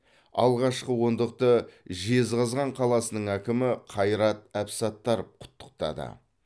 алғашқы ондықты жезқазған қаласының әкімі қайрат әбсаттаров құттықтады